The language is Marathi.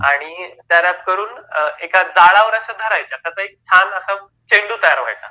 आणि त्या रॅप करून एका अश्या जाळावर धरायच्या, त्याचा एक छान असा चेंडू तयार व्हायचा,